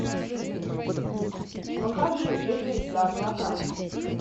покажи держись за облака